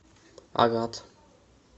агат